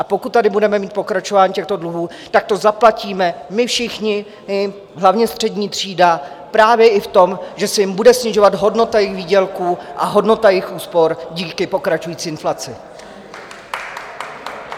A pokud tady budeme mít pokračování těchto dluhů, tak to zaplatíme my všichni, hlavně střední třída, právě i v tom, že se jim bude snižovat hodnota jejich výdělků a hodnota jejich úspor díky pokračující inflaci.